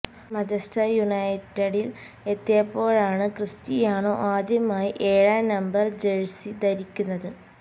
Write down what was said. Manchester യുനൈറ്റഡില് എത്തിയപ്പോഴാണ് Cristiano ആദ്യമായി ഏഴാം നമ്പര് ജഴ്സി ധരിക്കുന്നത്